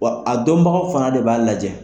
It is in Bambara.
Wa a dɔnbagaw fana de b'a lajɛ.